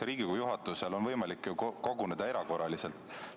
Riigikogu juhatusel on võimalik koguneda erakorraliselt.